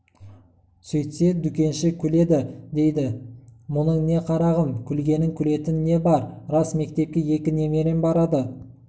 сөйтсе дүкенші күледі дейді мұның не қарағым күлгенің күлетін не бар рас мектепке екі немерем барады